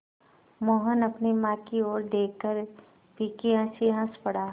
मोहन अपनी माँ की ओर देखकर फीकी हँसी हँस पड़ा